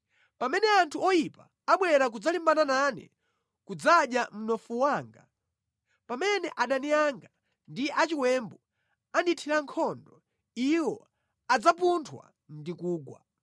Pamene anthu oyipa abwera kudzalimbana nane kudzadya mnofu wanga, pamene adani anga ndi achiwembu andithira nkhondo, iwo adzapunthwa ndi kugwa.